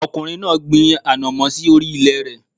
Ọkùnrin náà gbin Òdùkú sí orí ilè rẹ̀